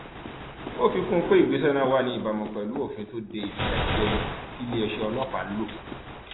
ó fi kún un pé ìgbésẹ náà wà ní ìbámu pẹlú òfin tó de ìfìyàjẹni tiléeṣẹ ọlọpàá ń lò